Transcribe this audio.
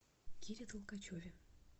кире толкачеве